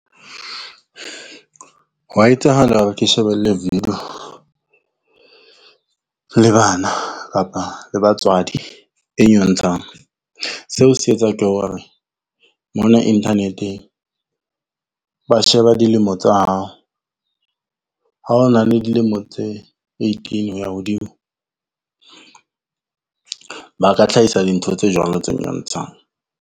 Hwa etsahala hore ke shebelle video le bana kapa le batswadi e nyontshang. Seo se etswa ke hore mona internet-eng, ba sheba dilemo tsa hao, ha ho na le dilemo tse eighteen ho ya hodimo, ba ka tlhahisa dintho tse jwalo tse nyontshang.